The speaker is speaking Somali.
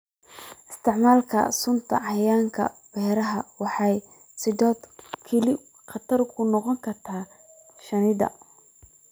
Isticmaalka sunta cayayaanka ee beeraha waxay sidoo kale khatar u noqon kartaa shinnida.